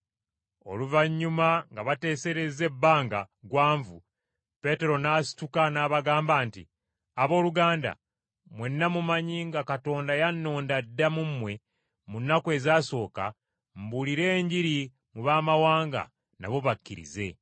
Oluvannyuma nga bateeserezza ebbanga ggwanvu, Peetero n’asituka n’abagamba nti, “Abooluganda, mwenna mumanyi nga Katonda yannonda dda mu mmwe mu nnaku ezaasooka, mbuulire Enjiri mu baamawanga nabo bakkirize.